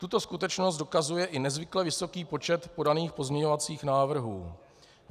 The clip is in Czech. Tuto skutečnost dokazuje i nezvykle vysoký počet podaných pozměňovacích návrhů.